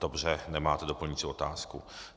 Dobře, nemáte doplňující otázku.